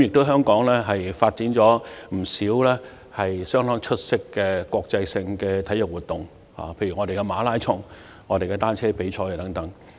香港曾舉辦不少相當出色的國際性體育活動，例如馬拉松、單車比賽等。